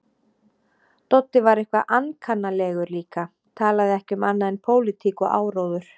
Doddi var eitthvað ankannalegur líka, talaði ekki um annað en pólitík og áróður.